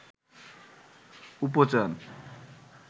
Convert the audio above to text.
উপচান